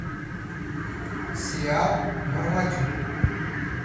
сериал мармадюк